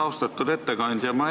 Austatud ettekandja!